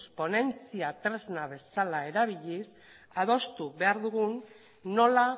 ponentzia tresna bezala erabiliz adostu behar dugu nola